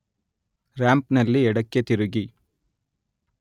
ರಾಂಪ್‌ನಲ್ಲಿ ಎಡಕ್ಕೆ ತಿರುಗಿ